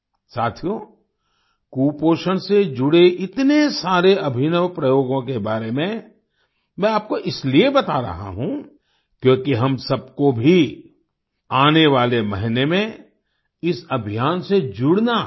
साथियो कुपोषण से जुड़े इतने सारे अभिनव प्रयोगों के बारे में मैं आपको इसीलिये बता रहा हूँ क्योंकि हम सब को भी आने वाले महीने में इस अभियान से जुड़ना है